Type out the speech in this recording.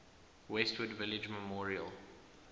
westwood village memorial